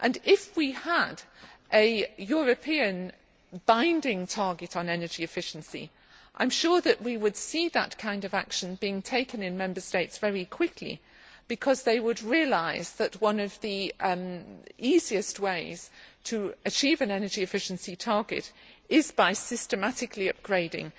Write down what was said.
If we had a European binding' target on energy efficiency, I am sure that we would see that kind of action being taken in Member States very quickly, because they would realise that one of the easiest ways to achieve an energy efficiency target is by systematically upgrading